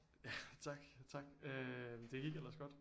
Tak tak øh det gik ellers godt